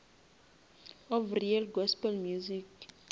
of real gospel music